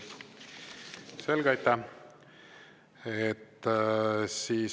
Selge, aitäh!